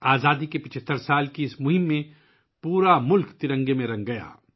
آزادی کے 75 سال کی اس مہم میں پورا ملک ترنگا بن گیا